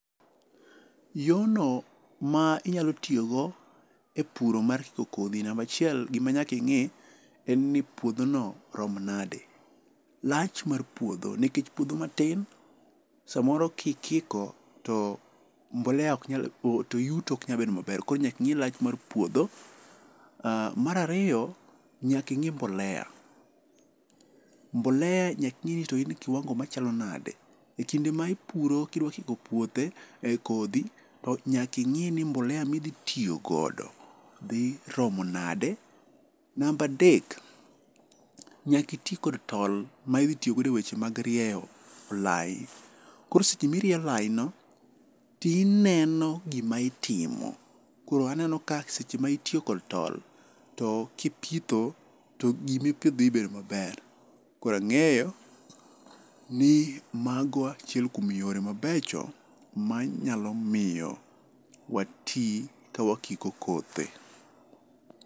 Yorno ma inyalo tiyogo e puro mar riwo kodhi namba achiel gima nyaka ing'e en ni puodho no rom nadi. Lach mar puodho nikech puodho matin samoro kikiko to mbolea ok nyal to yuto ok nyal bedo maber kor nyaka ing'i lach mar puodho. Mar ariyo nyaka ing'e mbolea. Mbolea nyaka ing'i ni to in gi kiwango machalo nade. Ekinde ma ipuro ka idwa puothe e kodhi nyaka to ing'i ni mbolea midhi tiyogodo dhi romo nade. Namba a dek, nyaka iti kod tol, ma idhi tiyo go e weche mag rieyo lai. Koro seche ma irieyo lai no to ineno gima itiomo. Koro an aneno ka seche ma itiyo kod tol, to kipitho to gima ipidho dhi bedo maber. Koro ang'eyo ni mago achiel kuom yore mabecho ma nyalo miyo wa ti ka wakiko kothe.